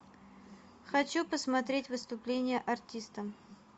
хочу посмотреть выступление артиста